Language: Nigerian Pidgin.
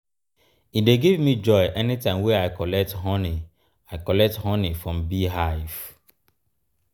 e dey give me joy anytime wey i collect honey i collect honey from bee hive.